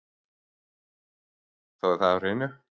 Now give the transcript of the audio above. Þá er það á hreinu